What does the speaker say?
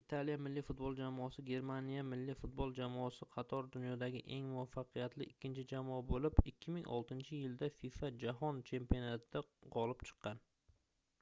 italiya milliy futbol jamoasi germaniya milliy futbol jamoasi qatori dunyodagi eng muvaffaqiyatli ikkinchi jamoa boʻlib 2006-yilda fifa jahon chempionatida gʻolib chiqqan